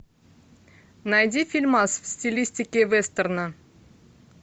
найди фильмас в стилистике вестерна